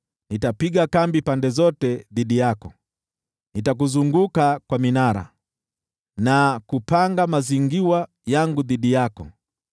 Nitapiga kambi pande zote dhidi yako, nitakuzunguka kwa minara na kupanga mazingirwa yangu dhidi yako.